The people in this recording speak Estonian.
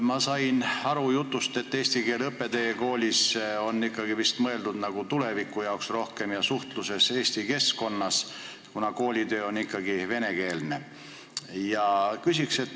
Ma sain aru, et eesti keele õpe teie koolis on vist mõeldud nagu rohkem tuleviku jaoks ja suhtluseks eesti keskkonnas, koolitöö on ikkagi venekeelne.